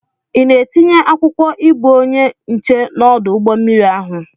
Ị na-etinye akwụkwọ ịbụ onye nche n'ọdụ ụgbọ mmiri ahụ?